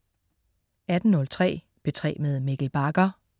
18.03 P3 med Mikkel Bagger